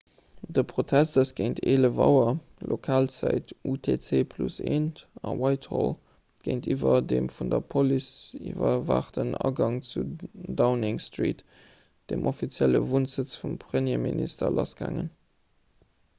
de protest ass géint 11.00 auer lokalzäit utc+1 a whitehall géintiwwer dem vun der police iwwerwaachten agang zu downing street dem offizielle wunnsëtz vum premierminister lassgaangen